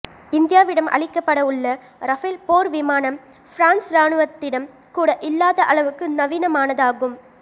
இந்தியாவிடம் அளிக்கப்பட உள்ள ரஃபேல் போர் விமானம் பிரான்ஸ் ராணுவத்திடம் கூட இல்லாத அளவுக்கு நவீனமானதாகும்